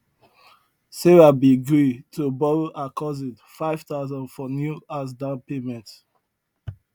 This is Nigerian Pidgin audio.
sarah been gree to borrow her cousin five thousand for new house down payment